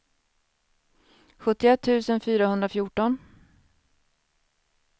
sjuttioett tusen fyrahundrafjorton